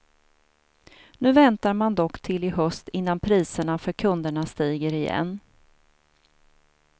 Nu väntar man dock till i höst innan priserna för kunderna stiger igen.